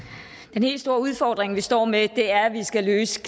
den helt store udfordring vi står med er at vi skal løse